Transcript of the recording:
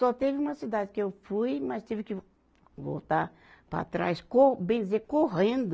Só teve uma cidade que eu fui, mas tive que voltar para trás, co, bem dizer, correndo.